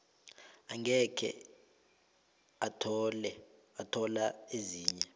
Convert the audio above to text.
angeke athola ezinye